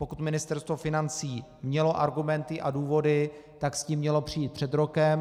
Pokud Ministerstvo financí mělo argumenty a důvody, tak s tím mělo přijít před rokem.